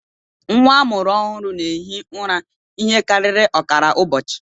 Nwa a mụrụ ọhụrụ na-ehi ụra ihe karịrị ọkara ụbọchị